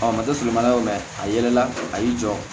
Ɔ maso mana mɛn a yɛlɛla a y'i jɔ